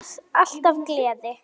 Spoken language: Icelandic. Alltaf gleði.